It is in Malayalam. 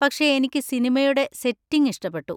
പക്ഷെ എനിക്ക് സിനിമയുടെ സെറ്റിങ് ഇഷ്ടപ്പെട്ടു.